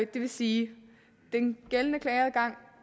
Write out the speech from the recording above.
det vil sige at den gældende klageadgang